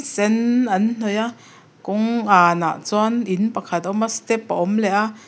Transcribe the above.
a sen an hnawih a kawng an ah chuan in pakhat a awm a step a awm leh a.